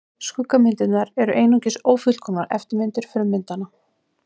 Skuggamyndirnar eru einungis ófullkomnar eftirmyndir frummyndanna.